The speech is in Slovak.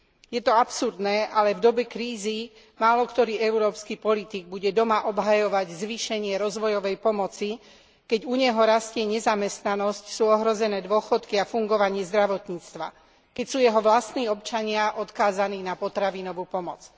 Je to absurdné, ale v dobe krízy máloktorý európsky politik bude doma obhajovať zvýšenie rozvojovej pomoci, keď u neho rastie nezamestnanosť, sú ohrozené dôchodky a fungovanie zdravotníctva, keď sú jeho vlastní občania odkázaní na potravinovú pomoc.